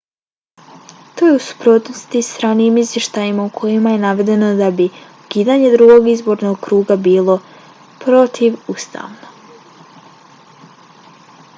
to je u suprotnosti s ranijim izvještajima u kojima je navedeno da bi ukidanje drugog izbornog kruga bilo protivustavno